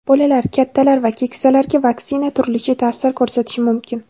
Bolalar, kattalar va keksalarga vaksina turlicha ta’sir ko‘rsatishi mumkin.